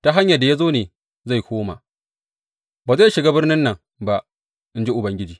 Ta hanyar da ya zo ne zai koma; ba zai shiga birnin nan ba, in ji Ubangiji.